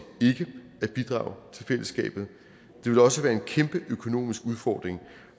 fællesskabet det ville også være en kæmpe økonomisk udfordring